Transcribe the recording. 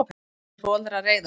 Hann segir foreldra reiða.